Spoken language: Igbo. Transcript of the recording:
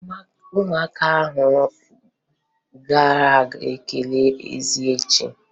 Ụmụaka ahụ ga-aga kelee eze echi.